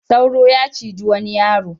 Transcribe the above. Sauro ya ciji wanai yaro.